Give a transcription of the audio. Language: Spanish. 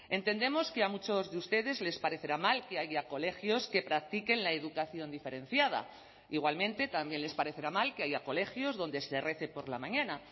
entendemos que a muchos de ustedes les parecerá mal que haya colegios que practiquen la educación diferenciada igualmente también les parecerá mal que haya colegios donde se rece por la mañana